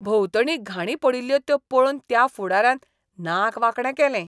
भोंवतणी घाणी पडिल्ल्यो त्यो पळोवन त्या फुडाऱ्यान नाक वांकडें केलें.